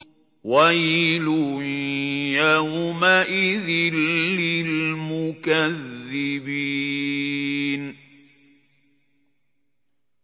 وَيْلٌ يَوْمَئِذٍ لِّلْمُكَذِّبِينَ